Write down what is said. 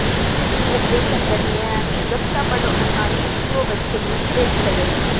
search operation દરમિયાન સુરક્ષાબળો અને આંતકીઓ વચ્ચે મુઠભેડ થઈ હતી